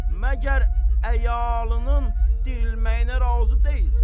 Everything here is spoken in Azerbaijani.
Məgər əyalının dirilməyinə razı deyilsən?